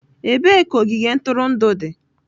Ebee ka ogige ntụrụndụ dị?